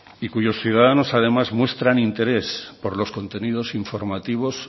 y cuyos ciudadanos además muestran interés por los contenidos informativos